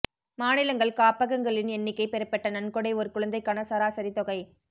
மாநிலங்கள் காப்பகங்களின் எண்ணிக்கை பெறப்பட்ட நன்கொடை ஒரு குழந்தைக்கான சராசரி தொகை